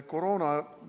Koroona?